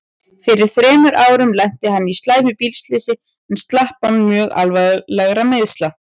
Fyrir þremur árum lenti hann í slæmu bílslysi en slapp án mjög alvarlegra meiðsla.